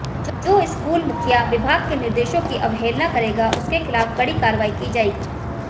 जो स्कूल मुखिया विभाग के निर्देशों की आवहेलना करेगा उसके खिलाफ कड़ी कार्रवाई की जाएगी